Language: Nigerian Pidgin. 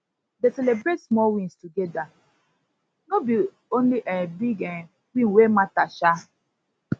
dey celibrate small wins togeda no be only um big um win wey mata um